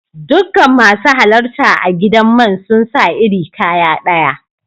Dukan masu halarta a'gidan man sun sa iri kaya daya.